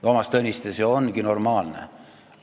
Toomas Tõniste, see ongi normaalne!